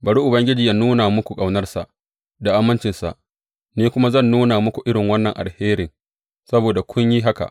Bari Ubangiji yă nuna muku ƙaunarsa da amincinsa, ni kuma zan nuna muku irin wannan alherin saboda kun yi haka.